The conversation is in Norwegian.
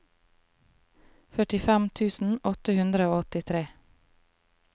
førtifem tusen åtte hundre og åttitre